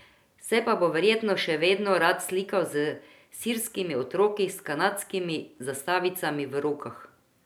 Se pa bo verjetno še vedno rad slikal s sirskimi otroki s kanadskimi zastavicami v rokah.